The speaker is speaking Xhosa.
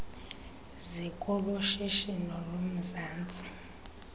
ziko loshishino lomzantsi